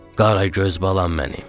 Qaragöz balam mənim.